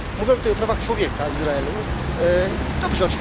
Mówimy tutaj o prawach człowieka w Izraelu i dobrze.